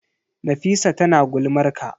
Nafisa tana ta gulmar ka.